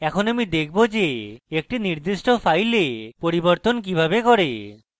এরপর আমি দেখাবো যে একটি নির্দিষ্ট file পরিবর্তন কিভাবে করে